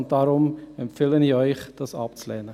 Deshalb empfehle ich Ihnen, dies abzulehnen.